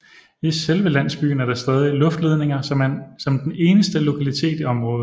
I selve landsbyen er der stadig luftledninger som den eneste lokalitet i området